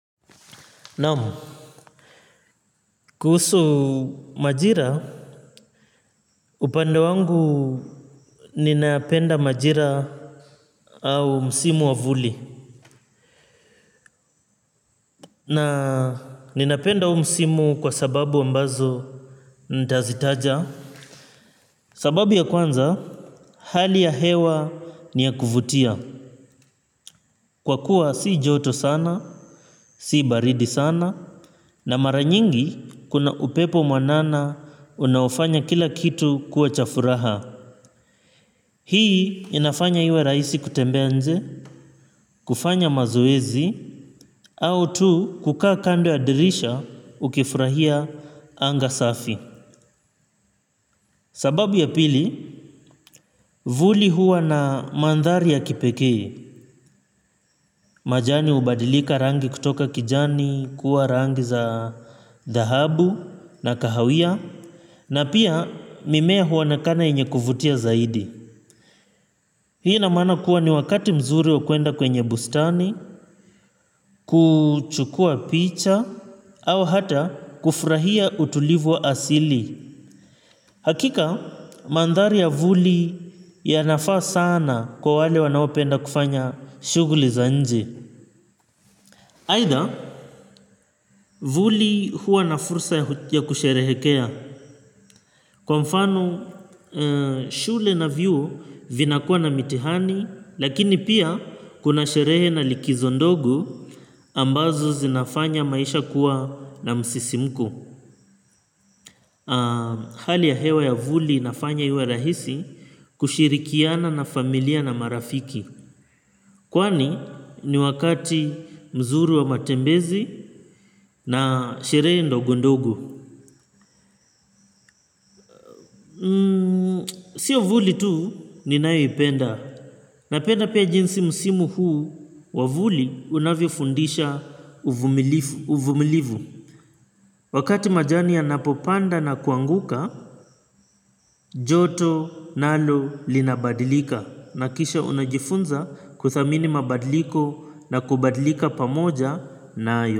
Naam kuhusu majira upande wangu ninapenda majira au msimu wa vuli na ninapenda huu msimu kwa sababu ambazo nitazitaja sababu ya kwanza hali ya hewa ni ya kuvutia kwa kuwa si joto sana si baridi sana na mara nyingi kuna upepo mwanana unaofanya kila kitu kuwa cha furaha. Hii inafanya iwe rahisi kutembea nje, kufanya mazoezi, au tu kukaa kando ya dirisha ukifurahia anga safi. Sababu ya pili, vuli huwa na mandhari ya kipekee, majani hubadilika rangi kutoka kijani, kuwa rangi za dhahabu na kahawia, na pia mimea huonekana yenye kuvutia zaidi. Hii ina mana kuwa ni wakati mzuri wa kwenda kwenye bustani, kuchukua picha, au hata kufurahia utulivu wa asili. Hakika, mandhari ya vuli yanafaa sana kwa wale wanaopenda kufanya shuguli za nje. Aidha, vuli huwa na fursa ya kusherehekea. Kwa mfano, shule na vyuo vinakuwa na mitihani, lakini pia kuna sherehe na likizo ndogo ambazo zinafanya maisha kuwa na msisimko. Hali ya hewa ya vuli inafanya iwe rahisi kushirikiana na familia na marafiki. Kwani ni wakati mzuri wa matembezi na sherehe ndogo ndogo. Sio vuli tu ninayo ipenda. Napenda pia jinsi msimu huu wa vuli unavyofundisha uvumilivu. Wakati majani yanapopanda na kuanguka, joto nalo linabadilika. Nakisha unajifunza kuthamini mabadiliko na kubadilika pamoja nayo.